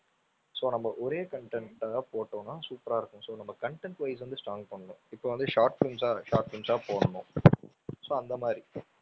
so நம்ம ஒரே content ஆ போட்டோம்னா super ஆ இருக்கும் so நம்ம content vice வந்து strong பண்ணனும். இப்போ வந்து short films ஆ short films ஆ போடணும் so அந்த மாதிரி.